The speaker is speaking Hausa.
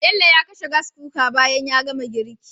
Bello ya kashe Gas Cooker bayan ya gama girki